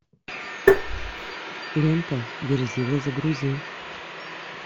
лента верзила загрузи